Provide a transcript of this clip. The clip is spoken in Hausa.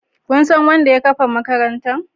Kun san wanda ya kafa makarantar?